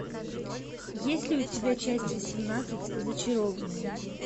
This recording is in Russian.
есть ли у тебя часть восемнадцать зачарованные